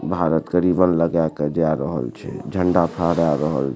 भारत के रिबन लगा के जाए रहल छै झंडा फहरा रहल --